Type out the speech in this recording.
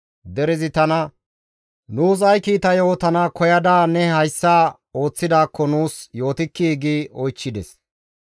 Derezi tana, «Nuus ay kiita yootana koyada ne hayssa ooththidaakko nuus yootikkii?» gi oychchides.